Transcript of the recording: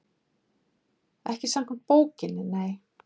Ekki samkvæmt bókinni, nei.